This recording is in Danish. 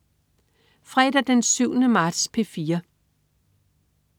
Fredag den 7. marts - P4: